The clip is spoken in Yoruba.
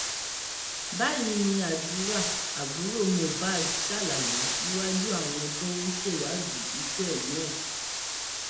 báyìí ni àdúrà àbúrò mohbad ṣàlàyé níwájú àwọn tó ń ṣèwádìí ikú ẹgbọn ẹ